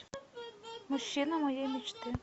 мужчина моей мечты